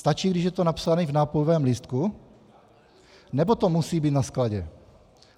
Stačí, když je to napsáno v nápojovém lístku, nebo to musí být na skladě?